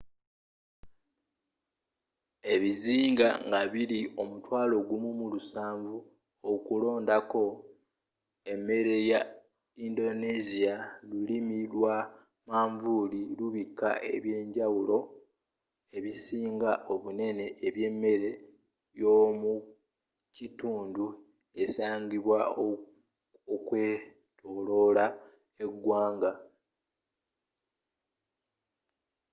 ebizinga nga biri ,17000 okulondako emmere ya indonesia lulimi lwa manvuli lubika eby'enjawulo ebisinga obunene ebyemmere yomukitundu esangibwa okwetolola egwanga